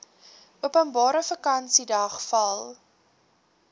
openbare vakansiedag val